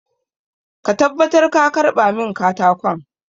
Make sure you collect the wood for me!